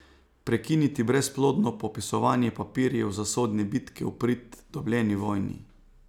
Prekiniti brezplodno popisovanje papirjev za sodne bitke v prid dobljeni vojni.